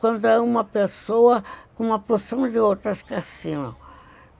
Quando é uma pessoa com uma porção de outras que assinam.